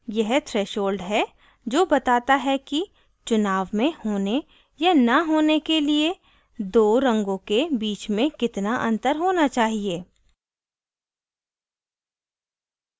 यह threshold है जो बताता है कि चुनाव में होने या न होने के लिए दो रंगों के बीच में कितना अंतर होना चाहिए